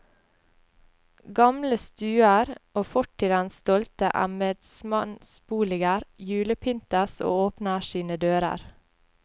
Gamle stuer og fortidens stolte embedsmannsboliger julepyntes og åpner sine dører.